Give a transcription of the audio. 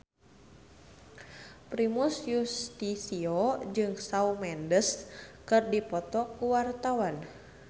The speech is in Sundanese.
Primus Yustisio jeung Shawn Mendes keur dipoto ku wartawan